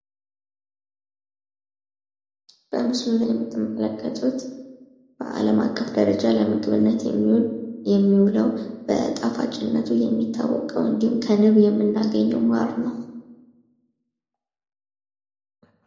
በምስሉ ላይ የምትመለከቱት በአለም አቀፍ ደረጃ ለምግብነት የሚውለው በጣፋጭነቱ የሚታወቀው እንዱሁም ከንብ የምናገኘው ማር ነው።